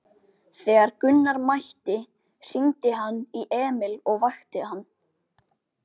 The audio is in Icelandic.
Þegar Gunnar mætti hringdi hann í Emil og vakti hann.